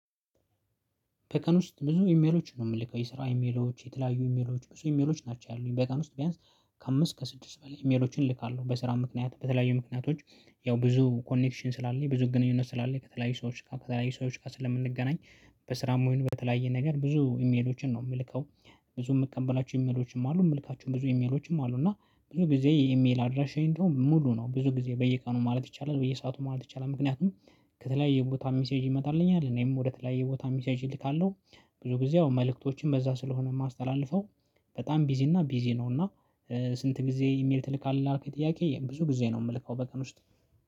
በቀን ውስጥ ብዙ ኢሜሎች ነው የምልከው የስራ ኢሜሎች የተለያዩ ኢሜሎች ብዙ ኢሜሎች ናቸው ያሉኝ በቀን ውስጥ ቢያንስ ከአምስት ከስድስት በላይ ኢሜሎችን እልካለሁ። በስራ ምክንያት በተለያዩ ምክንያቶች ያው ብዙ ኮኔክሽን ስላለኝ ብዙ ግንኙነት ስላለኝ ከተለያዩ ሰዎች ጋር ከተለያዩ ሰዎች ጋር ስለምንገናኝ በስራም ወይንም በተለያየ ነገር ብዙ ኢሜሎችን ነው የምልከው። ብዙ የምቀበላቸው ኢሜሎችንም አሉ የምልካቸው ብዙ ኢሜሎችም አሉ። እና ብዙ ጊዜ የኢሜል አድራሻዬ እንደውም ሙሉ ነው ብዙ ጊዜ በየቀኑ ማለት ይቻላል በየሰአቱ ማለት ይቻላል። ምክንያቱም ከተለያየ ቦታ ሚሴጅ ይመጣልኛል እኔም ወደተለያየ ቦታ ሚሴጅ እልካለሁ። ብዙ ጊዜ አሁን መልእክቶችን በዛ ስለሆነ የማስተላልፈው። በጣም ቢዚ እና ቢዚ ነው። እና ስንት ጊዜ ኢሜል ትልቅ አለ አርኬት ጥያቄ ብዙ ጊዜ ነው የምልከው? በቀን ውስጥ